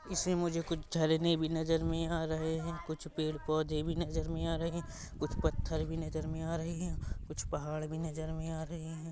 इसमे मुझे कुछ झरने भी नज़र मे आ रहे है कुछ पेड़-पोधे भी नज़र मे आ रहे है कुछ पत्थर भी नज़र मे आ रहे है कुछ पहाड़ भी नज़र मे आ रहे है।